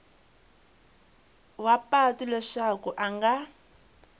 wa patu leswaku a nga